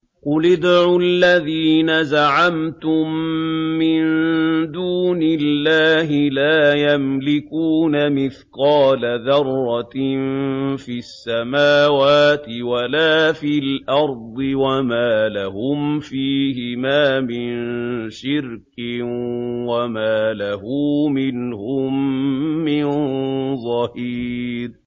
قُلِ ادْعُوا الَّذِينَ زَعَمْتُم مِّن دُونِ اللَّهِ ۖ لَا يَمْلِكُونَ مِثْقَالَ ذَرَّةٍ فِي السَّمَاوَاتِ وَلَا فِي الْأَرْضِ وَمَا لَهُمْ فِيهِمَا مِن شِرْكٍ وَمَا لَهُ مِنْهُم مِّن ظَهِيرٍ